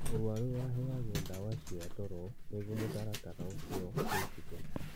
Mũrwaru aheagwo ndawa cia toro nĩguo mũtaratara ũcio wĩkĩke